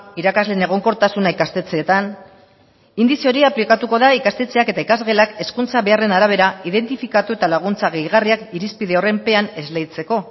irakasleen egonkortasuna ikastetxeetan indize hori aplikatuko da ikastetxeak eta ikasgelak hezkuntza beharren arabera identifikatu eta laguntza gehigarriak irizpide horren pean esleitzeko